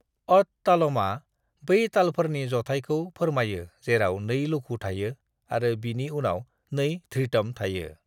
अत-तालमआ बै तालफोरनि जथायखौ फोरमायो जेराव 2 लघु थायो आरो बिनि उनाव 2 धृतम थायो।